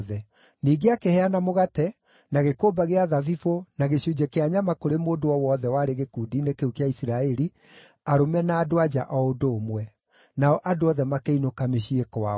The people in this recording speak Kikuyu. Ningĩ akĩheana mũgate, na gĩkũmba gĩa thabibũ, na gĩcunjĩ kĩa nyama kũrĩ mũndũ o wothe warĩ gĩkundi-inĩ kĩu gĩa Isiraeli, arũme na andũ-a-nja o ũndũ ũmwe. Nao andũ othe makĩinũka mĩciĩ kwao.